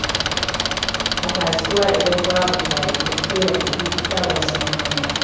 A kasuwa idan babu baƙi, sai na tafi shagon su Muhammad.